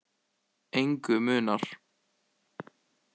Engu munar.